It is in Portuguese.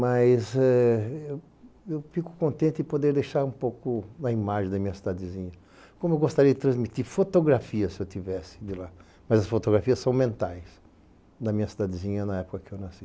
Mas eu fico contente em poder deixar um pouco a imagem da minha cidadezinha, como eu gostaria de transmitir fotografias se eu tivesse de lá, mas as fotografias são mentais da minha cidadezinha na época em que eu nasci.